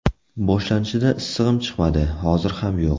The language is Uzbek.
Boshlanishida issig‘im chiqmadi, hozir ham yo‘q.